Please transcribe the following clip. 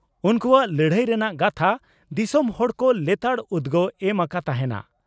ᱩᱱᱠᱩᱣᱟᱜ ᱞᱟᱹᱲᱦᱟᱹᱭ ᱨᱮᱱᱟᱜ ᱜᱟᱛᱷᱟ ᱫᱤᱥᱚᱢ ᱦᱚᱲ ᱠᱚ ᱞᱮᱛᱟᱲ ᱩᱫᱽᱜᱟᱣ ᱮᱢ ᱟᱠᱟ ᱛᱟᱦᱮᱸᱱᱟ ᱾"